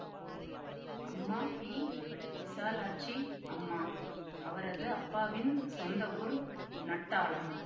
அம்மா பி விசாலாட்சி அம்மா அவரது அப்பாவின் சொந்த ஊர் நட்டாலம்